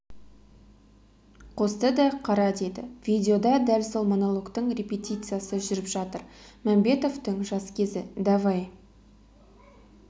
қосты да қара деді видеода дәл сол монологтың репетициясы жүріп жатыр мәмбетовтың жас кезі давай